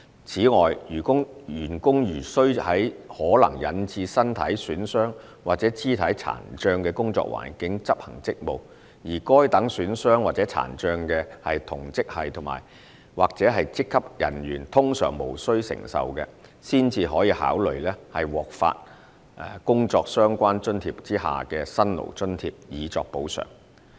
此外，員工如須在可能引致身體損傷或肢體殘障的工作環境執行職務，而該等損傷或殘障是同職系或職級人員通常無須承受的，才可考慮獲發放工作相關津貼下的"辛勞津貼"以作補償。